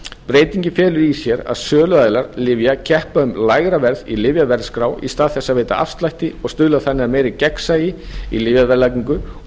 breytingin felur í sér að söluaðilar lyfja keppa um lægra verð í lyfjaverðskrá í stað þess að veita afslætti og stuðlar þannig að meira gegnsæi í lyfjaverðlagningu og